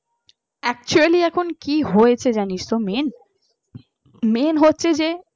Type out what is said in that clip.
actually এখন কি হয়েছে জানিস তো মেন মেন হচ্ছে যে